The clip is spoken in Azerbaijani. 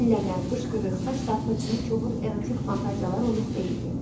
İnənmə, qışqırıq, saç dartmaq kimi kobud erotik fantaziyalar onunluq deyildi.